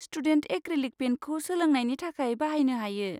Student acrylic पेइन्टखौ सोलोंनायनि थाखाय बाहायनो हायो।